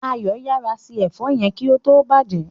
Ayo yara se èfó yén kí ó tó bàjé.